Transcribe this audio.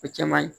O cɛ man ɲi